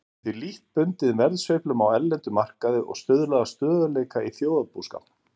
Hún er því lítt bundin verðsveiflum á erlendum markaði og stuðlar að stöðugleika í þjóðarbúskapnum.